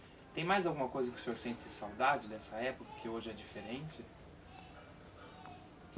Tem mais alguma coisa que o senhor sente saudade dessa época, que hoje é diferente?